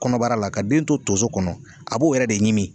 Kɔnɔbara la ka den to tonso kɔnɔ a b'o yɛrɛ de ɲimi